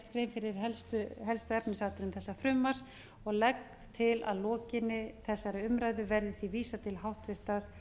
grein fyrir helstu efnisatriðum þessa frumvarps og legg til að að lokinni þessari umræðu verði því vísað til háttvirtrar